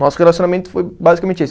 Nosso relacionamento foi basicamente esse.